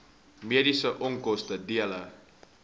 mediese onkoste dele